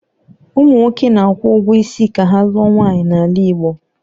Ụmụ nwoke na-akwụ ụgwọ isi ka ha lụọ nwaanyị n'ala Igbo.